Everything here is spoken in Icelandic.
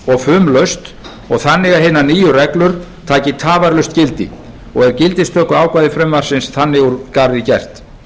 og fumlaust og þannig að hinar nýju reglur taki tafarlaust gildi og er gildistökuákvæði frumvarpsins þannig úr garði gert